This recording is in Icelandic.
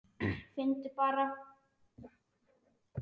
Finndu bara!